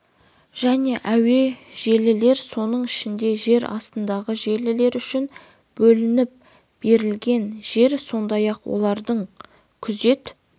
және әуе желілер соның ішінде жер астындағы желілер үшін бөлініп берілген жер сондай-ақ олардың күзет